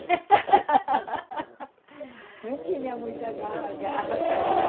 Nem tinha muita agarra, agarra